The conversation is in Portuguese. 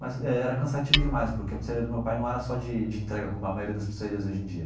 Mas era cansativo demais, porque a pizzaria do meu pai não era só de de entrega, como a maioria das pizzarias hoje em dia.